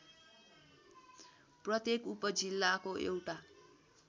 प्रत्येक उपजिल्लाको एउटा